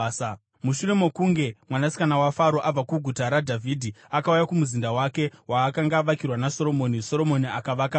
Mushure mokunge mwanasikana waFaro abva kuGuta raDhavhidhi akauya kumuzinda wake waakanga avakirwa naSoromoni, Soromoni akavaka Miro.